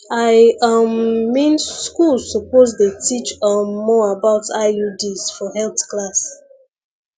i um mean schools suppose dey teach um more about iuds for health class